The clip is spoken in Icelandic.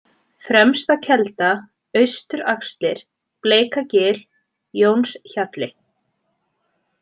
Fremstakelda, Austuraxlir, Bleikagil, Jónshjalli